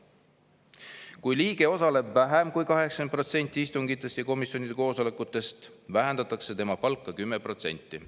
Kui liige osaleb vähem kui 80%‑l istungitest või komisjonide koosolekutest, vähendatakse tema palka 10%.